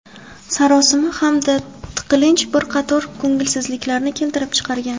Sarosima hamda tiqilinch bir qator ko‘ngilsizliklarni keltirib chiqargan.